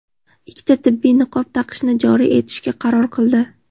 ikkita tibbiy niqob taqishni joriy etishga qaror qildi.